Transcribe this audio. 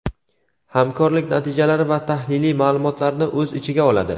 hamkorlik natijalari va tahliliy ma’lumotlarni o‘z ichiga oladi.